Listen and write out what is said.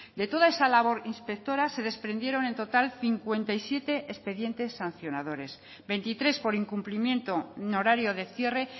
de toda esa labor inspectora se desprendieron en total cincuenta y siete expedientes sancionadores veintitres por incumplimiento en horario de cierre